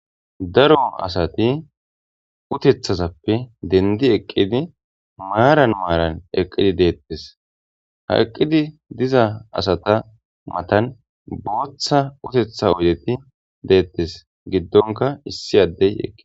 Daro asati uteththazappe denddi eqqidi maaran maaran eqqidi de'etes ha eqqidi diza asata matan booththa uteththa oydeti de'etes giddonka issi addey eqqi